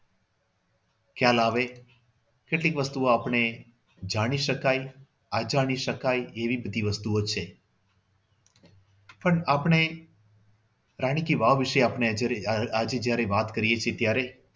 ખ્યાલ આવે કેટલીક વસ્તુઓ આપણને જાણી શકાય એવી બધી વસ્તુઓ છે પણ આપણે રાણી કી વાવ વિશે જયારે જયારે આજે વાત કરીએ છીએ ત્યારે